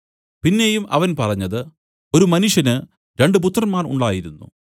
പിന്നെയും അവൻ പറഞ്ഞത് ഒരു മനുഷ്യന് രണ്ടു പുത്രന്മാർ ഉണ്ടായിരുന്നു